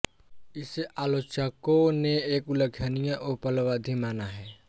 इसे आलोचकों ने एक उल्लेखनीय उपलब्धि माना है